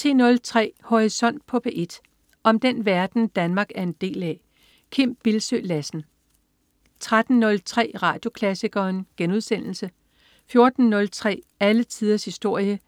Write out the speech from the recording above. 10.03 Horisont på P1. Om den verden, Danmark er en del af. Kim Bildsøe Lassen 13.03 Radioklassikeren* 14.03 Alle tiders historie*